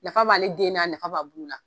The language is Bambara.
Nafa b'ale den na nafa b'a bulu la